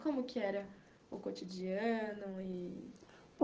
Como que era o cotidiano?